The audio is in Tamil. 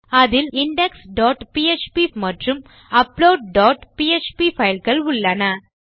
அதில் indexபிஎச்பி மற்றும் அப்லோட் டாட் பிஎச்பி fileகள் உள்ளன